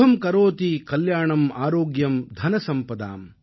சுபம் கரோதி கல்யாணம் ஆரோக்யம் தனசம்பதாம்